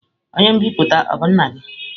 Onye nbipute a o bu nna gi?